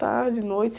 Tarde, noite.